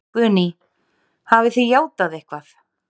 Guðný: Hafið þið játað eitthvað?